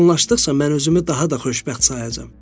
Vaxt yaxınlaşdıqca mən özümü daha da xoşbəxt sayacam.